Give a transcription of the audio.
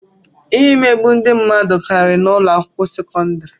Imegbu ndị mmadụ kariri n'ụlọ akwụkwọ sekọndrị.